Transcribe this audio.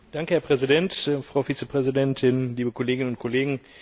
Herr Präsident, Frau Vizepräsidentin, liebe Kolleginnen und Kollegen!